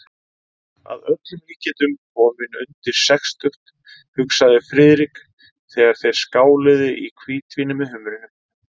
Að öllum líkindum kominn undir sextugt, hugsaði Friðrik, þegar þeir skáluðu í hvítvíni með humrinum.